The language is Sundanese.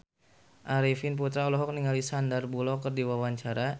Arifin Putra olohok ningali Sandar Bullock keur diwawancara